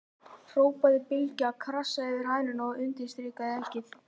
hrópaði Bylgja, krassaði yfir hænuna og undirstrikaði eggið.